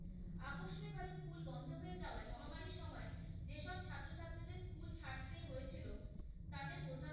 হয়ে যাওয়ায় মহামারীর সময় যে সব ছাত্র ছাত্রীদের school ছাড়তে হয়েছিলো তাদের,